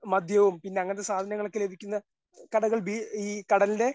മദ്യവും പിന്നെ അങ്ങനത്തെ സാധനങ്ങളൊക്കെ ലഭിക്കുന്ന കടകൾ ബീ ഈ കടലിന്റെ